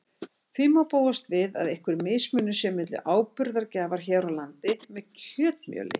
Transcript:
Því má búast við að einhver mismunur sé milli áburðargjafar hér á landi með kjötmjöli.